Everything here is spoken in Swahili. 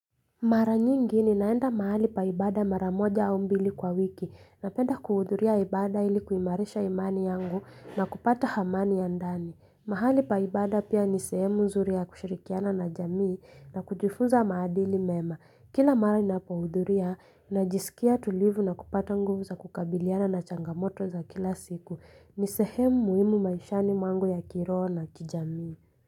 Mara nyingi ni naenda mahali pa ibada mara moja au mbili kwa wiki napenda kuhuduria ibada ili kuimarisha imani yangu na kupata hamani ya ndani. Mahali paibada pia ni sehemu nzuri ya kushirikiana na jamii na kujifunza maadili mema. Kila mara ninapohudhuria na jisikia tulivu na kupata nguvu za kukabiliana na changamoto za kila siku ni sehemu muhimu maishani mwangu ya kiroho na kijamii.